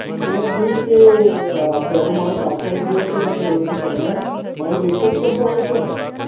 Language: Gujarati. તો હું જોઇશ કે આ પેહલો મારો parcel જે હશેને એ હું તમને મારી દેખતાજ કરતા હો છોને હવે?